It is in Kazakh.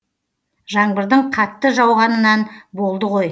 жаңбырдың қатты жауғанынан болды ғой